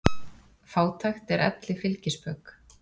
Fátækt er elli fylgispök.